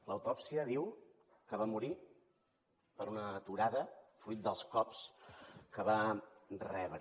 l’autòpsia diu que va morir per una aturada fruit dels cops que va rebre